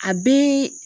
A bɛ